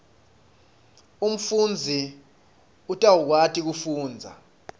umfundzi utawukwati kufundza